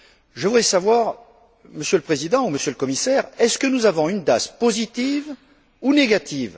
Je voudrais savoir, Monsieur le Président, Monsieur le Commissaire, si nous avons une DAS positive ou négative?